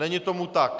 Není tomu tak.